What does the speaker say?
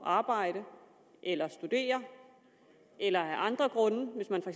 arbejde eller studere eller af andre grunde hvis man for